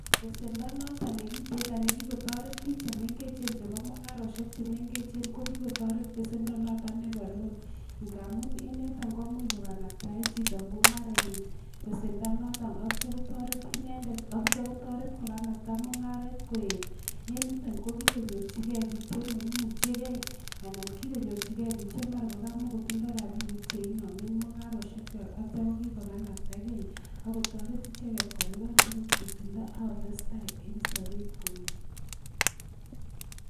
Besendo noto nekitin nekikotoret biik chemengechen chebo mung'aroshek chemengechen ko kikotoret besendo noto nebo loan ngaamun en yoto komuuch kokanaptaen chito mung'arenyin besendo noton atyo kotoret inendet atyo kotoret kokanapta mung'aret koet en yuton kokikonyorchigei biik chemaimuchigei anan kikonyorchigei biik che mara kokamokotondoi rabinik cheinomen mung'aroshek kwach atyo kokikokanaptakei akotoret icheget kolipan akot besendo akotestai en sobet komyee